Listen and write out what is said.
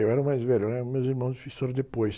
Eu era mais velho, né? Os meus irmãos fizeram depois.